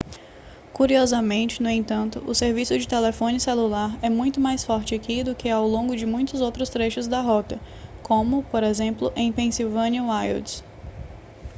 curiosamente no entanto o serviço de telefone celular é muito mais forte aqui do que ao longo de muitos outros trechos da rota como por exemplo em pennsylvania wilds